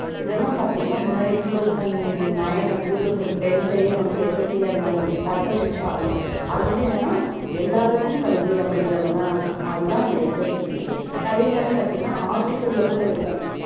இதெல்லாம் பாத்தீங்கன்னா முன்னாடியே two thousand nine and two thousand ten லயே வந்து SSA அந்த மாதிரி வந்துச்சு sarva shiksha அப்படின்னு அது வந்து என்னன்னா எல்லாருக்கும் கல்வி அப்படிங்கறதெல்லாம் அது தான் அந்த SSCA அதே மாதிரி பார்த்தீங்கன்னா article ல கூட இருக்கும்